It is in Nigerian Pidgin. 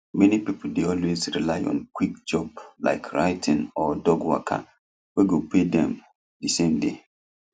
many people dey always rely on quick job like writing or dog waka wey go pay them the same day